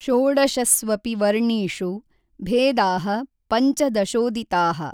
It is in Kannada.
ಷೋಡಶಸ್ವಪಿ ವರ್ಣೀಷು ಭೇದಾಃ ಪಂಚದಶೋದಿತಾಃ।